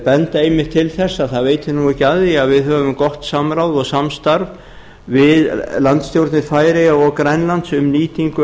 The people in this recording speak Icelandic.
benda einmitt til þess að það veitir ekki af því að við höfum gott samráð og samstarf við landsstjórnir færeyja og grænlands um nýtingu